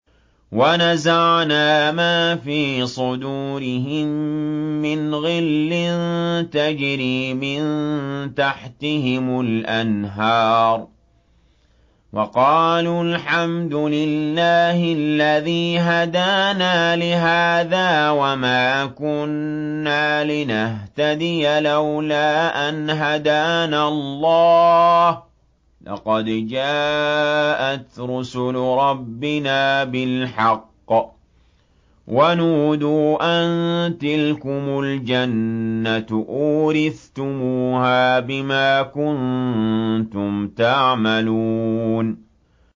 وَنَزَعْنَا مَا فِي صُدُورِهِم مِّنْ غِلٍّ تَجْرِي مِن تَحْتِهِمُ الْأَنْهَارُ ۖ وَقَالُوا الْحَمْدُ لِلَّهِ الَّذِي هَدَانَا لِهَٰذَا وَمَا كُنَّا لِنَهْتَدِيَ لَوْلَا أَنْ هَدَانَا اللَّهُ ۖ لَقَدْ جَاءَتْ رُسُلُ رَبِّنَا بِالْحَقِّ ۖ وَنُودُوا أَن تِلْكُمُ الْجَنَّةُ أُورِثْتُمُوهَا بِمَا كُنتُمْ تَعْمَلُونَ